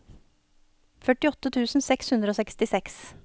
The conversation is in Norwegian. førtiåtte tusen seks hundre og sekstiseks